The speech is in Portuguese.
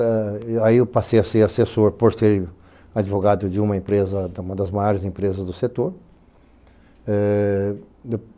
Aí eu passei a ser assessor, por ser advogado de uma empresa, de uma das maiores empresas do setor. É...